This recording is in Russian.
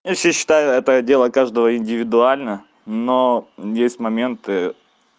я вообще считаю это дело каждого индивидуально но есть моменты